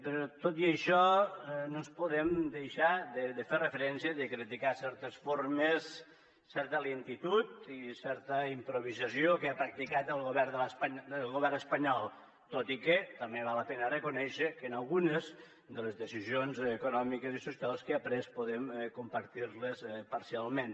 però tot i això no podem deixar de fer referència i de criticar certes formes certa lentitud i certa improvisació que ha practicat el govern espanyol tot i que també val la pena reconèixer que algunes de les decisions econòmiques i socials que ha pres podem compartir les parcialment